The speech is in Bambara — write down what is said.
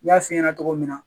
N y'a f'i ɲɛna cogo min na